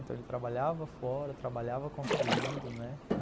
Então ele trabalhava fora, trabalhava construindo, né?